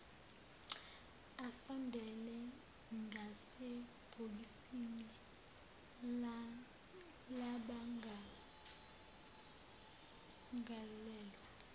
asondele ngasebhokisini labamangalelwa